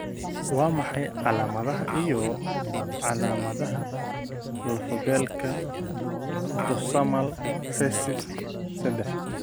Waa maxay calaamadaha iyo calaamadaha lafo-beelka autosomal recessive sadax?